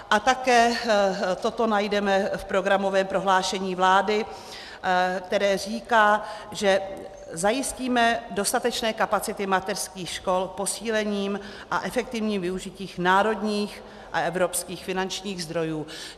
A také toto najdeme v programovém prohlášení vlády, které říká, že "zajistíme dostatečné kapacity mateřských škol posílením a efektivním využitím národních a evropských finančních zdrojů".